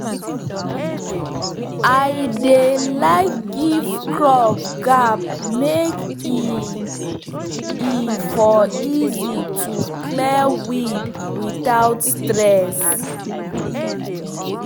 i dey like give crop gap make e e for easy to clear weed without stress